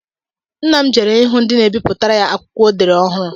Nna m jere ịhụ ndị na-ebipụtara ya akwụkwọ o dere ọhụụ